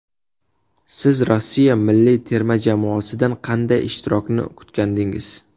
Siz Rossiya milliy terma jamoasidan qanday ishtirokni kutgandingiz?